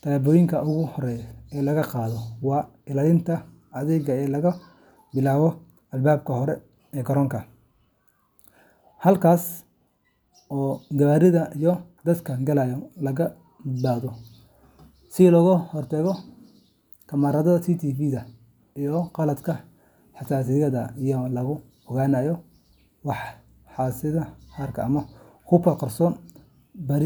tallaabooyinka ugu horreeya ee la qaado waa ilaalinta adag ee laga bilaabo albaabka hore ee garoonka, halkaas oo gawaarida iyo dadka galaya lagu baadho si looga hortago wax kasta oo amniga halis ku noqon kara. Waxaa la adeegsadaa qalab casri ah sida baarayaasha biraha, kamaradaha CCTVda, iyo qalabka xasaasiga ah ee lagu ogaanayo walxaha qarxa. ama hubka qarsoon. Dadka rakaabka ah, shaqaalaha garoonka, iyo xitaa kuwa la socda safarka rakaabka ayaa la marsiiyaa baaris.